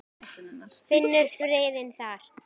Finnur friðinn þar.